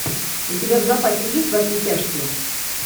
у тебя в запасе есть во все тяжкие